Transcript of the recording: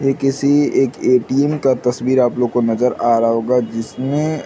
ये किसी एक ए.टी.एम. का तस्वीर आप लोग को नज़र आ रहा होगा जिसमें --